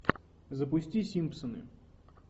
запусти симпсоны